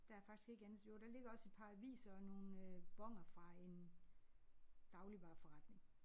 Der er faktisk ikke andet. Jo der ligger også et par aviser og nogle øh boner fra en dagligvareforretning